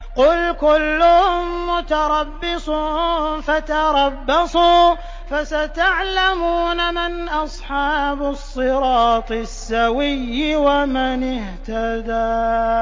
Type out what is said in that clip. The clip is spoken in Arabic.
قُلْ كُلٌّ مُّتَرَبِّصٌ فَتَرَبَّصُوا ۖ فَسَتَعْلَمُونَ مَنْ أَصْحَابُ الصِّرَاطِ السَّوِيِّ وَمَنِ اهْتَدَىٰ